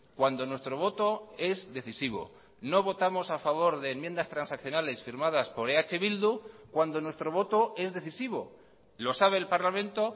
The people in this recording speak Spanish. cuando nuestro voto es decisivo no votamos a favor de enmiendas transaccionales firmadas por eh bildu cuando nuestro voto es decisivo lo sabe el parlamento